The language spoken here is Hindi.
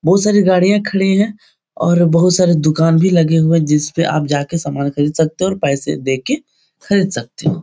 बहुत सारी गाड़ियाँ खडी है और बहुत सारे दुकान भी लगे हुए जिसपे आप जाके सामान खरीद सकते हो और पैसे देके खरीद सकते हो।